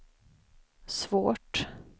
svårt